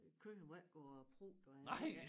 Æ køer må ikke gå og prutte og alt det der